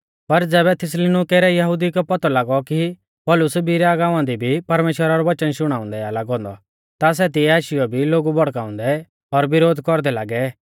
पर ज़ैबै थिस्सलुनीके रै यहुदिऊ कै पौतौ लागौ कि पौलुस बिरीया गांवा दी भी परमेश्‍वरा रौ वचन शुणाउंदै आ लागौ औन्दौ ता सै तिऐ आशीयौ भी लोगु भड़काउंदै और विरोध कौरदै लागै